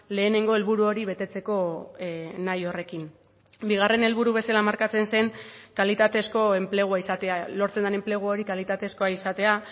lehenengo helburu hori betetzeko nahi horrekin bigarren helburu bezala markatzen zen kalitatezko enplegua izatea lortzen den enplegu hori kalitatezkoa izatea